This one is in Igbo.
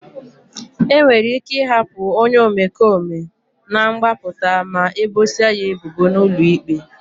E nwere ike ịhapụ onye omekome na mgbapụta ma ebosia ya ebubo n'ụlọ ikpe.